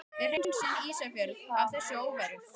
Við hreinsum Ísafjörð af þessari óværu!